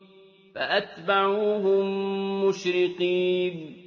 فَأَتْبَعُوهُم مُّشْرِقِينَ